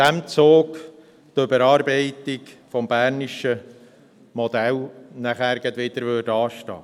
Dadurch stünde die Überarbeitung des bernischen Modells gleich wieder an.